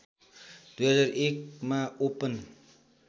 २००१ मा ओपन